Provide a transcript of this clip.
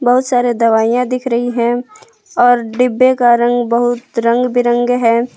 बहुत सारे दवाइयां दिख रही हैं और डिब्बे का रंग बहुत रंग बिरंगे है।